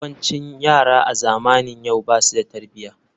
Yawancin yara a zamanin yau basu da tarbiyya.